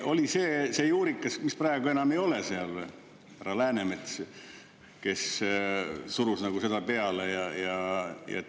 Oli see juurikas see, keda praegu enam ei ole seal, härra Läänemets, kes surus seda peale?